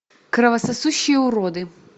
кровососущие уроды